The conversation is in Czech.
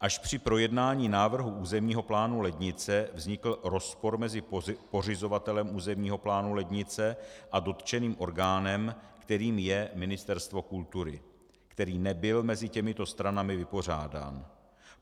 Až při projednání návrhu územního plánu Lednice vznikl rozpor mezi pořizovatelem územního plánu Lednice a dotčeným orgánem, kterým je Ministerstvo kultury, který nebyl mezi těmito stranami vypořádán.